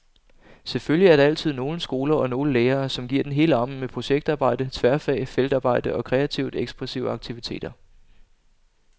Selvfølgelig er der altid nogle skoler og nogle lærere, som giver den hele armen med projektarbejde, tværfag, feltarbejde og kreativt ekspressive aktiviteter.